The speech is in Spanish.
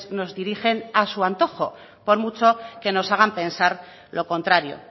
nos dirigen a su antojo por mucho que nos hagan pensar lo contrario